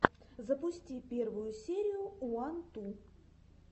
запусти первую серию уан ту